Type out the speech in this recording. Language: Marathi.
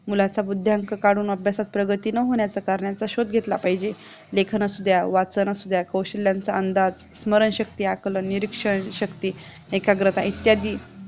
मुलाचा बुद्ध्यांक काढून अभ्यासात प्रगती न होण्याचा कारणांचा शोध घेतला पाहिजे, लेखन असू द्या, वाचन असू द्या कौशल्यांच्या अंदाज, स्मरणशक्ती आकलन, निरीक्षण शक्ती, एकाग्रता इत्यादी